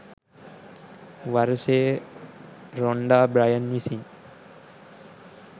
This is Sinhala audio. වර්ෂයේ රොන්ඩා බ්‍රයන් විසින්.